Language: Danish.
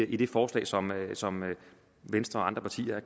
i det forslag som venstre og andre partier har